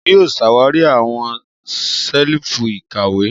Èmi yóò ṣawari awọn ṣelifu ìkàwé.